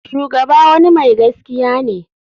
Shugaba wani mai gaskiya ne.